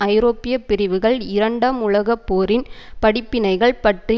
ஐரோப்பிய பிரிவுகள் இரண்டாம் உலக போரின் படிப்பினைகள் பற்றி